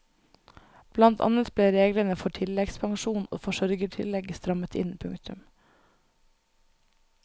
Blant annet ble reglene for tilleggspensjon og forsørgertillegg strammet inn. punktum